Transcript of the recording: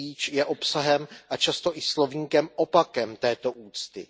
je obsahem a často i slovníkem opakem této úcty.